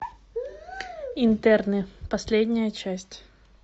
интерны последняя часть